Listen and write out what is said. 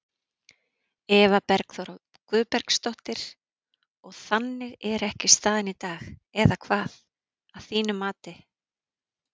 Eva Bergþóra Guðbergsdóttir: Og þannig er ekki staðan í dag eða hvað, að þínu mati?